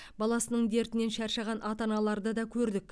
баласының дертінен шаршаған ата аналарды да көрдік